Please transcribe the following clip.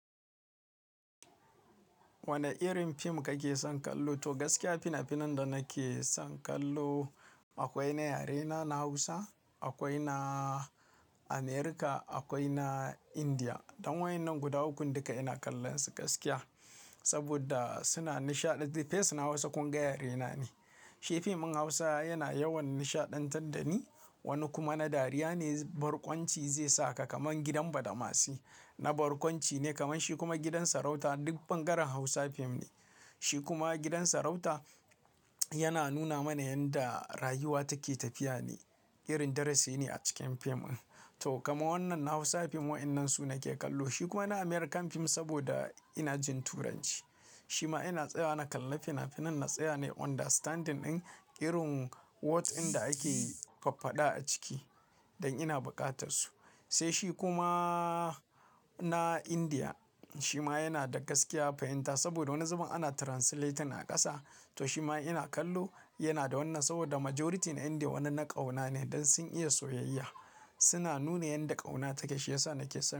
Wane irin fim kake son kallo? To gaskiya fina-finan da nake son kallo akwai na yare na Hausa, akwai na America, akwai na India. Dan wa'annan guda ukun duka ina kallon su gaskiya. Saboda suna nishaɗanta, face na Hausa kun ga yare na ne. Shi fim din Hausa yana yawan nishaɗantar da ni. Wani kuma na dariya ne, barkwanci zai saka kaman gidan badamasi. Na barkwanci ne kaman shi kuma gidan sarauta duk bangaren Hausa fim ne. Shi kuma gidan sarauta yana nuna mana yanda rayuwa take tafiya ne. Irin darasi ne a cikin fim din. To kaman wannan na Hausa fim wa'innan su nake kallo. Shi kuma na American fim saboda ina jin Turanci. Shi ma ina tsaya na kalla fina-finan na tsaya ne understanding din irin what ɗin da ake faffada a ciki dan ina buƙatar su. Sai shi kuma na India shi ma yana da gaskiya fahimta saboda wani zubin ana translating a ƙasa. To shi ma ina kallo yana da wannan saboda majority na India wani na ƙauna ne dan sun iya soyayya. Suna nuna yanda ƙauna take. Shi yasa nake son.